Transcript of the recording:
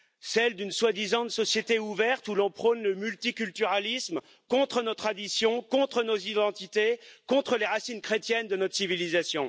Celles d'une soi disant société ouverte où l'on prône le multiculturalisme contre nos traditions, contre nos identités, contre les racines chrétiennes de notre civilisation.